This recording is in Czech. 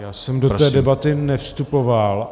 Já jsem do té debaty nevstupoval.